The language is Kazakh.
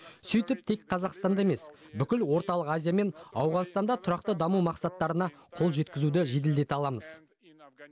сөйтіп тек қазақстанда ғана емес бүкіл орталық азия мен ауғанстанда тұрақты даму мақсаттарына қол жеткізуді жеделдете аламыз